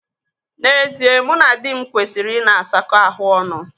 N'ezie, mụ na dị m kwesịrị ịna asakọ ahụ ọnụ.